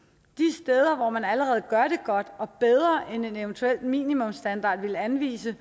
steder hvor man allerede gør det godt og bedre end en eventuel minimumsstandard ville anvise